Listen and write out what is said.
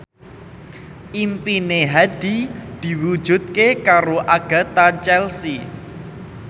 impine Hadi diwujudke karo Agatha Chelsea